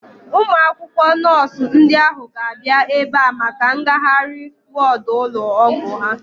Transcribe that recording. Ụmụ akwụkwọ nọọsu ndị ahu ga-abịa ebea maka ngagharị wọọdu ụlọ ọgwụ ha